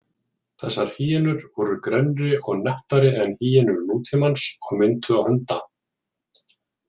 Þessar hýenur voru grennri og nettari en hýenur nútímans og minntu á hunda.